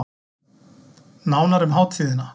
Nánar um hátíðina